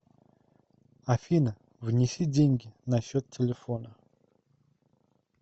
афина внеси деньги на счет телефона